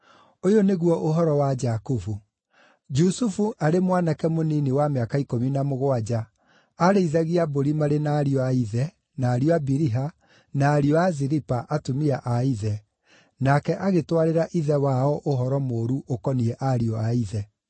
Ũyũ nĩguo ũhoro wa Jakubu. Jusufu arĩ mwanake mũnini wa mĩaka ikũmi na mũgwanja aarĩithagia mbũri marĩ na ariũ a ithe, na ariũ a Biliha, na ariũ a Zilipa, atumia a ithe, nake agĩtwarĩra ithe wao ũhoro mũũru ũkoniĩ ariũ a ithe.